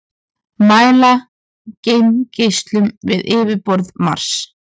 mæla geimgeislun við yfirborð mars